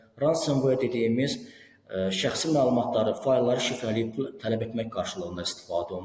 Ransomware dediyimiz şəxsi məlumatları, faylları şifrələyib pul tələb etmək qarşılığında istifadə olunur.